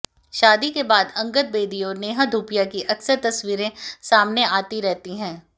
शादी के बाद अंगद बेदी और नेहा धूपिया की अक्सर तस्वीरें सामने आती रहती हैं